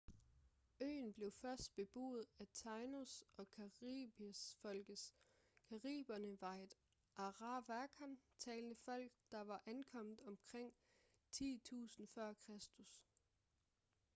øen blev først beboet af taínos- og caribes-folkene. cariberne var et arawakan-talende folk der var ankommet omkring 10.000 f.kr